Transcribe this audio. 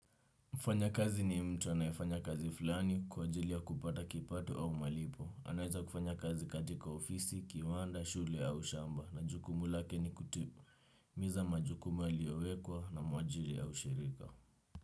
Mfanyakazi ni mtu anayefanya kazi fulani kwa ajili ya kupata kipato au malipo. Anaeza kufanya kazi katika ofisi, kiwanda, shule au shamba. Na jukumu lake ni kutipu. Hutimiza majukumu yaliyowekwa na mwajiri au shirika.